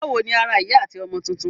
Báwo ni ara ìyá àti ọmọ tuntun?